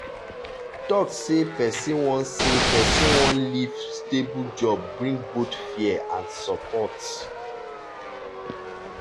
talk say person wan say person wan leave stable job bring both fear and support.